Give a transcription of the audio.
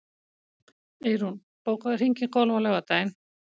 Eyrún, bókaðu hring í golf á laugardaginn.